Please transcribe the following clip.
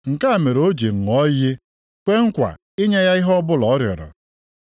Nke a mere o ji ṅụọ iyi kwee nkwa inye ya ihe ọbụla ọ rịọrọ.